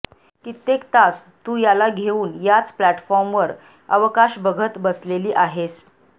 कित्येक तास तू याला घेऊन याच प्लॅटफॉर्मवर अवकाश बघत बसलेली आहेस